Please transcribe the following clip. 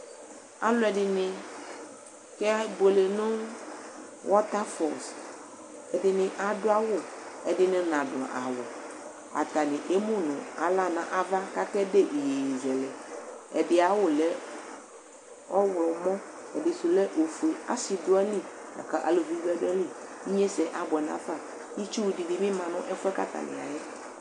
Aluɛɖini kɛ buele nu wɔtafɔls Ɛdini aɖu awu, ɛɖini naɖu awu Atani emu nu aɣla nu ãvã, ku ake ɖe iyeyezɛlɛ Ɛɖi ayu awu lɛ ɔwlɔmɔ, ɛɖisu lɛ ofue Asi ɖu ayili, laku aluʋi bi ɖu ayili Igniessɛ abuɛ nu afa Itsuɖini bi mã nu ɛfuɛ yɛ ku atani ya yɛ